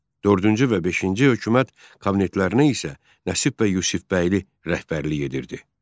Dördüncü və beşinci hökumət kabinetlərinə isə Nəsib bəy Yusifbəyli rəhbərlik edirdi.